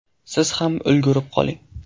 Siz ham ulgurib qoling!